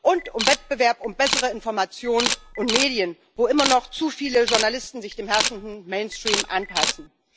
Und über Wettbewerb um bessere Informationen und Medien, wo immer noch zu viele Journalisten sich dem herrschenden Mainstream anpassen.